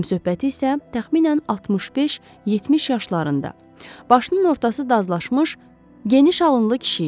Həmsöhbəti isə təxminən 65-70 yaşlarında, başının ortası dazlaşmış, geniş alınlı kişi idi.